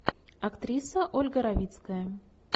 актриса ольга равицкая